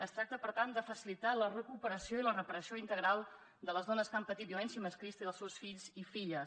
es tracta per tant de facilitar la recuperació i la reparació integral de les dones que han patit violència masclista i dels seus fills i filles